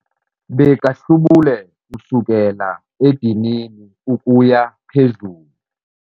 Bekahlubule kusukela edinini ukuya phezulu.